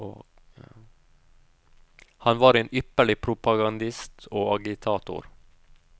Han var en ypperlig propagandist og agitator.